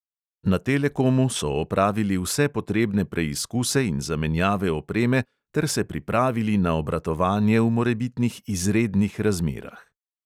Na telekomu so opravili vse potrebne preizkuse in zamenjave opreme ter se pripravili na obratovanje v morebitnih izrednih razmerah.